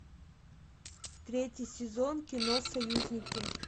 третий сезон кино союзники